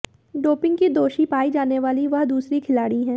doping की दोषी पाई जाने वाली वह दूसरी खिलाड़ी हैं